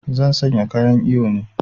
Zan sanya kayan iyo ne